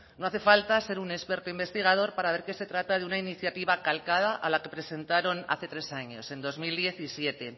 no hace falta ser un experto investigador para ver que se trata de una inicia calcada a la presentaron hace tres años en dos mil diecisiete